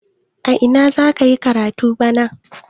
A ina za ka yi karatu bana?